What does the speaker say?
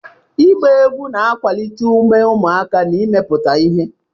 Ịgba egwu na-akwalite ume ụmụaka na imepụta ihe.